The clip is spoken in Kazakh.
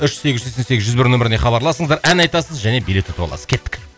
үш сегіз жүз сексен сегіз жүз бір нөміріне хабарласыңыздар ән айтасыз және билет ұтып аласыз кеттік